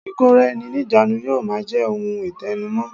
Ìkóra-ẹni-níjàánu yóò máa je ohun itẹnu mọ́